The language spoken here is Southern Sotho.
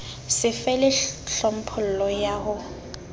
so fele tlhophollo ya ho